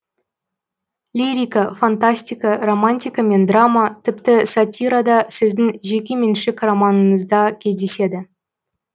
лирика фантастика романтика мен драма тіпті сатирада сіздің жекеменшік романыңызда кездеседі